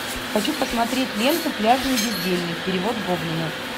хочу посмотреть ленту пляжный бездельник перевод гоблина